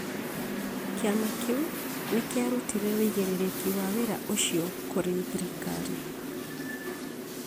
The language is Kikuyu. Kĩama kĩu nĩ kĩarutire ũigĩrĩrĩki wa wĩra ũcio kũrĩ thirikari